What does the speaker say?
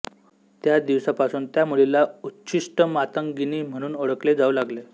त्या दिवसापासून त्या मुलीला उच्छिष्टमातंगिनी म्हणून ओळखले जाऊ लागले